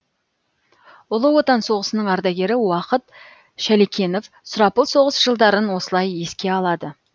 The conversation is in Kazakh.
ұлы отан соғысының ардагері уақыт шалекенов сұрапыл соғыс жылдарын осылай еске алады